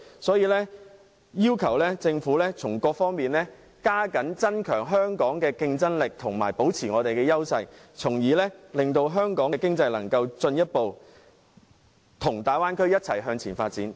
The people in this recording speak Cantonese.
所以，我要求政府從各方面提升香港的競爭力，保持香港的優勢，令香港的經濟與大灣區一起向前發展。